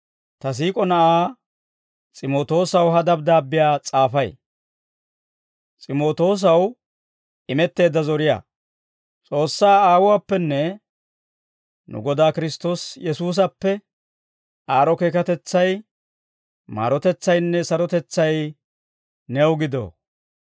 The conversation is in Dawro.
ta siik'o na'aa S'imootoosaw ha dabddaabbiyaa s'aafay. S'imootoosaw Imetteedda Zoriyaa S'oossaa Aawuwaappenne nu Godaa Kiristtoosi Yesuusappe, aad'd'o keekatetsay, maarotetsaynne sarotetsay new gido.